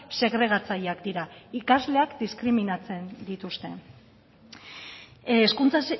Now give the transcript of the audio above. segregatzaileak dira ikasleak diskriminatzen dituzte hezkuntza